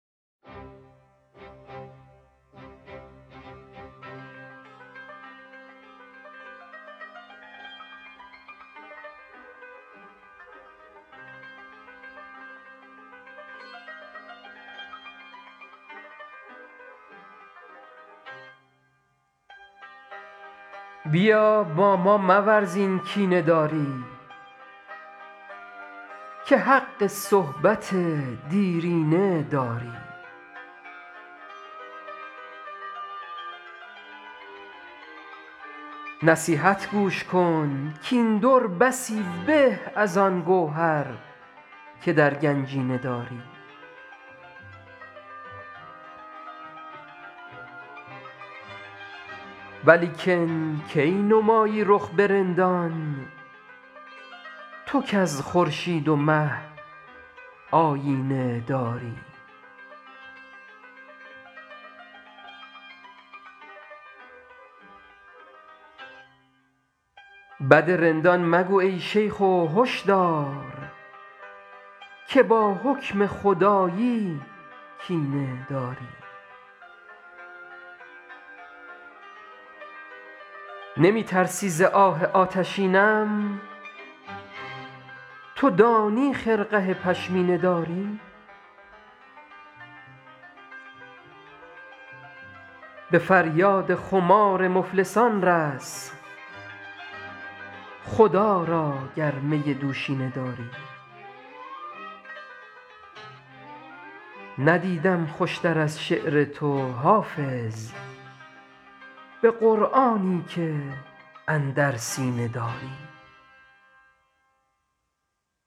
بیا با ما مورز این کینه داری که حق صحبت دیرینه داری نصیحت گوش کن کاین در بسی به از آن گوهر که در گنجینه داری ولیکن کی نمایی رخ به رندان تو کز خورشید و مه آیینه داری بد رندان مگو ای شیخ و هش دار که با حکم خدایی کینه داری نمی ترسی ز آه آتشینم تو دانی خرقه پشمینه داری به فریاد خمار مفلسان رس خدا را گر می دوشینه داری ندیدم خوش تر از شعر تو حافظ به قرآنی که اندر سینه داری